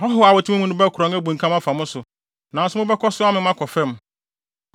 Ahɔho a wɔte mo mu no bɛkorɔn abunkam mo so, nanso mobɛkɔ so amem akɔ fam.